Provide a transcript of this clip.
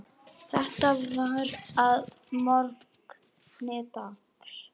Þetta var að morgni dags.